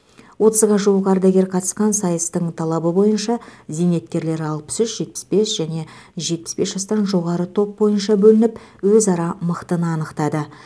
отызға жуық ардагер қатысқан сайыстың талабы бойынша зейнеткерлер алпыс үш жетпіс бес және жетаіс бес жастан жоғары топ бойынша бөлініп өзара мықтыны анықтады